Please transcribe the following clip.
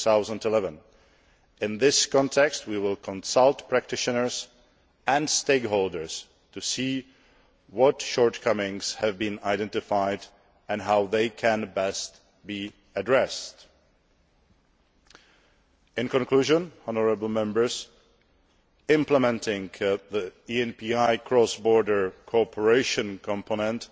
2011. In this context, we will consult practitioners and stakeholders to see what shortcomings have been identified and how they can best be addressed. In conclusion, implementing the ENPI cross border cooperation component